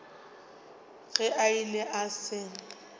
ge a ile a se